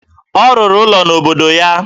Ọ rụrụ ụlọ n'obodo ya